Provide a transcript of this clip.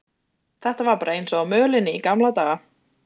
Þetta var bara eins og á mölinni í gamla daga.